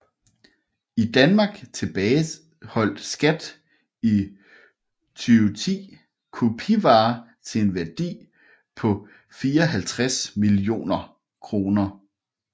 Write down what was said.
I Danmark tilbageholdt SKAT i 2010 kopivarer til en værdi på 54 millioner kroner